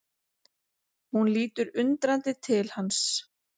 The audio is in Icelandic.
Hún lítur undrandi til hans.